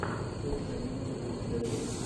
вкусная минутка у тебя есть